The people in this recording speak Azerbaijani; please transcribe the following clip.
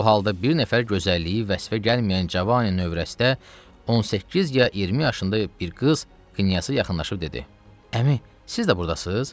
Bu halda bir nəfər gözəlliyi vəsfə gəlməyən cavanı övrəstə 18 ya 20 yaşında bir qız knyaza yaxınlaşıb dedi: Əmi, siz də burdasız?